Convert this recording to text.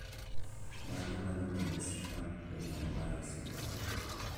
Mage magin ranyisi mag Donnai Barrow syndrome